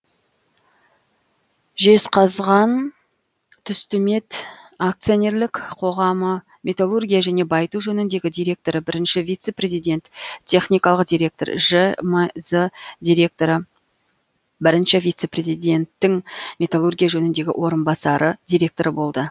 жезқазғантүстімет ақ металлургия және байыту жөніндегі директоры бірінші вице президент техникалық директор жмз директоры бірінші вице президентгің металлургия жөніндегі орынбасары директоры болды